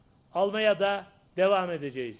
almağa da davam edəcəyik.